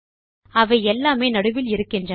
அவை எல்லாமே நடுவில் இருக்கின்றன